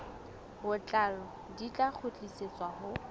botlalo di tla kgutlisetswa ho